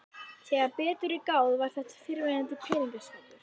Þegar betur var að gáð var þetta fyrrverandi peningaskápur.